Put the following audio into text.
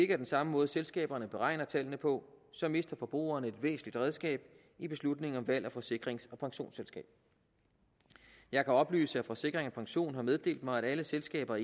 er den samme måde selskaberne beregner tallene på så mister forbrugerne et væsentligt redskab i beslutningen om valg af forsikrings og pensionsselskab jeg kan oplyse at forsikring pension har meddelt mig at alle selskaber